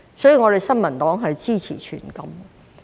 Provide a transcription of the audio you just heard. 所以，我們新民黨支持全禁。